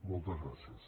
moltes gràcies